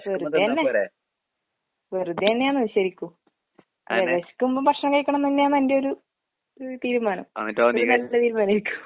വെറുതെയന്നെ. വെറുതെയന്നെയാന്ന് ശെരിക്കും. അതെ വെശക്കുമ്പം ഭക്ഷണം കഴിക്കണന്നന്നെയാണ് എന്റെയൊരു ഒരു തീരുമാനം. അത് നല്ല തീരുമാനേരിക്കും.